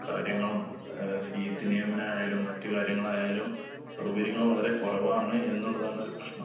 കാര്യങ്ങളും ആഹ് സീറ്റ് നിയമനായാലും മറ്റ് കാര്യങ്ങളായാലും സൗകര്യങ്ങൾ വളരെ കൊറവാണ് എന്നുള്ളതാണൊരു പ്രശ്നം.